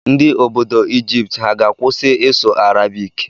Ndị obodo Ijipt ha ga-akwụsị ịsụ Arabik?